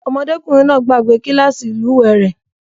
Ọmọdékùnrin náà gbàgbe kílàsì ìlúwè rẹ̀.